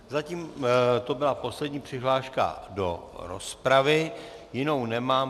Zatím to byla poslední přihláška do rozpravy, jinou nemám.